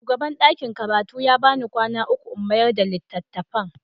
Shugaban ɗakin karatu ya ba ni kwana uku in mayar da littattafan.